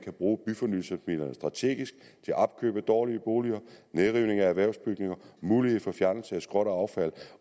at bruge byfornyelsesmidlerne strategisk til opkøb af dårlige boliger nedrivning af erhvervsbygninger mulighed for fjernelse af skrot og affald